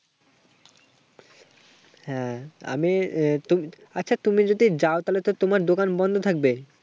হ্যাঁ, আমি আচ্ছা, তুমি যদি যাও তাহলে তো তোমার দোকান বন্ধ থাকবে,